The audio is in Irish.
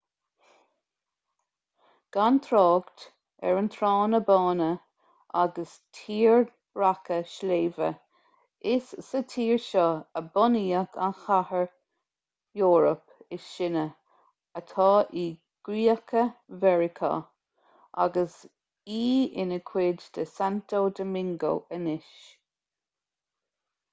gan trácht ar na tránna bána agus tírdhreacha sléibhe is sa tír seo a bunaíodh an chathair eorpach is sine atá i gcríocha mheiriceá agus í ina cuid de santo domingo anois